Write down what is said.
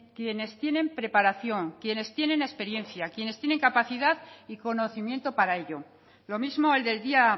quienes tienen preparación quienes tienen experiencia quienes tienen capacidad y conocimiento para ello lo mismo el del día